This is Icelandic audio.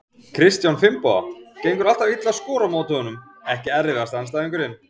Kristján Finnboga, gengur alltaf illa að skora á móti honum Ekki erfiðasti andstæðingur?